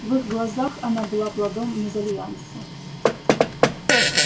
в их глазах она была плодом мезальянса